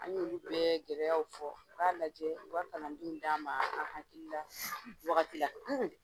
An ɲ'olu bɛɛ gɛlɛyaw fɔ. U k'a lajɛ, u ka kalandenw d'an ma an hakil la s wagati la.